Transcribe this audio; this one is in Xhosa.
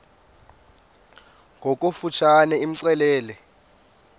ngokofu tshane imxelele